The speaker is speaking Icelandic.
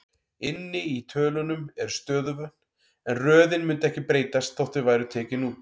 Inni í tölunum eru stöðuvötn, en röðin mundi ekki breytast þótt þau væru tekin út.